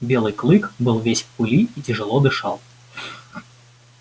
белый клык был весь в пыли и тяжело дышал